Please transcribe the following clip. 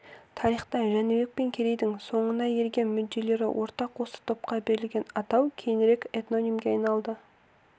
тарихта жәнібек пен керейдің соңына ерген мүдделері ортақ осы топқа берілген атау кейінірек этнонимге айналды